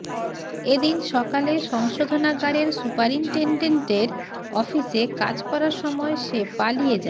এদিন সকালে সংশোধনাগারের সুপারিন্টেনডেন্টের অফিসে কাজ করার সময়ে সে পালিয়ে যায়